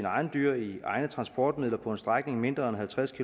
egne dyr i egne transportmidler på en strækning mindre end halvtreds